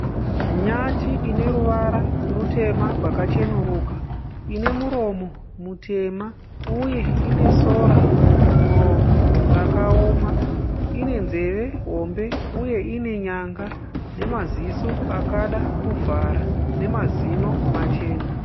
Nyati ine ruvara rutema rwakacheneruka, ine muromo mutema uye ine sora mumuromo rakawoma. Ine nzeve hombe uye ine nyanga nemaziso akada kuvhara nemazino machena.